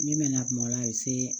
Min bɛ na kuma ola a bɛ se